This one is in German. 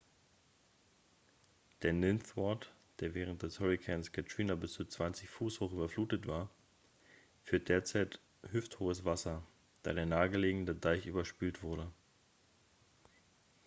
der ninth ward der während des hurrikans katrina bis zu 20 fuß hoch überflutet war führt derzeit hüfthohes wasser da der nahe gelegene deich überspült wurde